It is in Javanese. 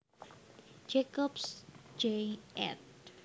Jacobs Jay ed